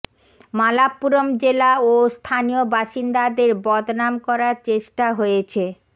মালাপ্পুরম জেলা ও স্থানীয় বাসিন্দাদের বদনাম করার চেষ্টা হয়েছে